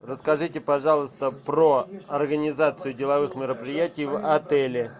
расскажите пожалуйста про организацию деловых мероприятий в отеле